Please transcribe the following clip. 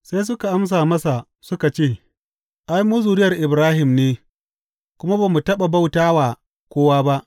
Sai suka amsa masa suka ce, Ai, mu zuriyar Ibrahim ne kuma ba mu taɓa bauta wa kowa ba.